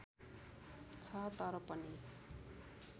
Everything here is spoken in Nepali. छ तर पनि